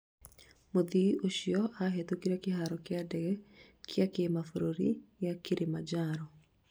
Mũthii ũcio ahetũkĩire kĩharo kĩa ndege kĩa kĩmabũrũri gĩa kĩrĩmanjaro